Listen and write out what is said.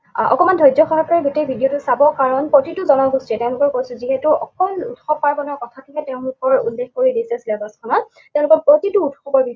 আহ অকণমান ধৈৰ্যসহকাৰে গোটেই video টো চাব, কাৰণ প্ৰতিটো জনগোষ্ঠীয়েই তেওঁলোকৰ কৈছোঁ যিহেতু অকল উৎসৱ পাৰ্বণৰ কথাটোহে তেওঁলোকৰ উল্লেখ কৰি দিছে syllabus খনত, তেওঁলোকৰ প্ৰতিটো উৎসৱ আমি